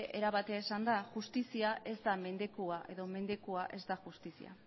era batera esanda justizia ez da mendekua edo mendekua ez da justizia